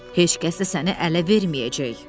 Heç kəs də səni ələ verməyəcək.